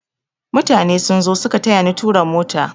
Mutane sun zo suka tayani tura motar